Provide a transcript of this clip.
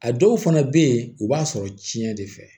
A dɔw fana bɛ yen u b'a sɔrɔ tiɲɛ de fɛ